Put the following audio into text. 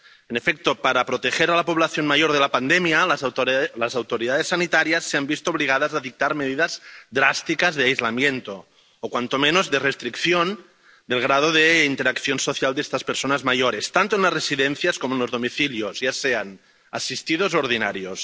En efecto, para proteger a la población mayor de la pandemia, las autoridades sanitarias se han visto obligadas a dictar medidas drásticas de aislamiento o, cuando menos, de restricción del grado de interacción social de estas personas mayores, tanto en las residencias como en los domicilios, ya sean asistidos u ordinarios.